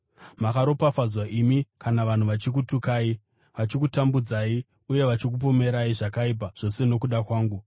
“Makaropafadzwa imi kana vanhu vachikutukai, vachikutambudzai uye vachikupomerai zvakaipa zvose nokuda kwangu.